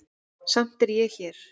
Samt er ég hér.